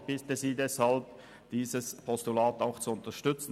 Ich bitte Sie deshalb, auch dieses Postulat zu unterstützen.